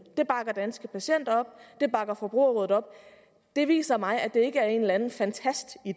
det bakker danske patienter op det bakker forbrugerrådet op det viser mig at det ikke er en eller anden fantastidé